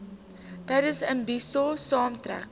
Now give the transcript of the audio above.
tydens imbizo saamtrekke